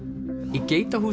í